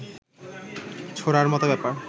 ছোঁড়ার মত ব্যাপার